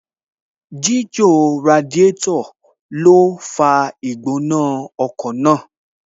Ṣíṣí Radiátò ló fa Ìgbónájù ọkọ̀ máa